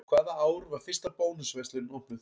Hvaða ár var fyrsta Bónus verslunin opnuð?